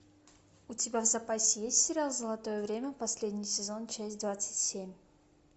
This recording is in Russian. у тебя в запасе есть сериал золотое время последний сезон часть двадцать семь